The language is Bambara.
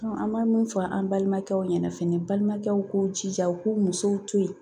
an bɛ min fɔ an balimakɛw ɲɛna fɛnɛ, balimakɛw k'u jija u k'u musow to yen.